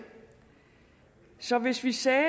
så hvis vi sagde